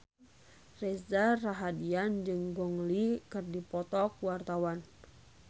Reza Rahardian jeung Gong Li keur dipoto ku wartawan